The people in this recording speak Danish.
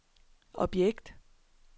objekt